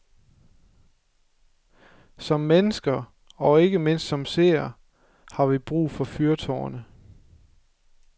Som mennesker, og ikke mindst som seere, har vi brug for fyrtårne.